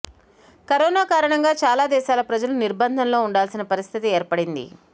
corona కారణంగా చాలా దేశాల ప్రజలు నిర్భందంలో ఉండాల్సిన పరిస్థితి ఏర్పడింది